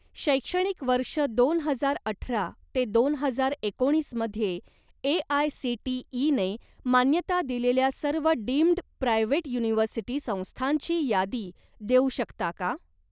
शैक्षणिक वर्ष दोन हजार अठरा ते दोन हजार एकोणीसमध्ये ए.आय.सी.टी.ई. ने मान्यता दिलेल्या सर्व डीम्ड प्रायव्हेट युनिव्हर्सिटी संस्थांची यादी देऊ शकता का?